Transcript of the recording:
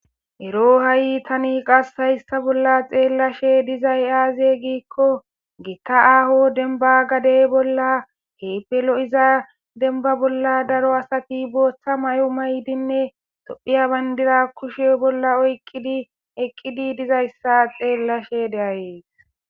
ero ha7i tani qasshayssa bolla xeellashe dizay aaze giikko geeta aaho denba gadey bolla heypelo7iza denba bolla daro asati booththa may7o maydinne tophiya bayndira kushe bolla oyqqidi eqqidi dizayssa xeellashe deayees